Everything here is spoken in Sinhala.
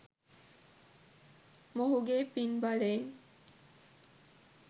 මොහුගේ පින් බලයෙන්